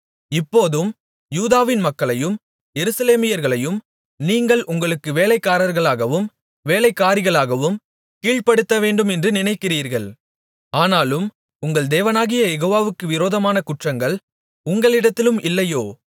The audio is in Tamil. இப்போதும் யூதாவின் மக்களையும் எருசலேமியர்களையும் நீங்கள் உங்களுக்கு வேலைக்காரர்களாகவும் வேலைக்காரிகளாகவும் கீழ்ப்படுத்தவேண்டும் என்று நினைக்கிறீர்கள் ஆனாலும் உங்கள் தேவனாகிய யெகோவாவுக்கு விரோதமான குற்றங்கள் உங்களிடத்திலும் இல்லையோ